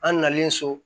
An nalen so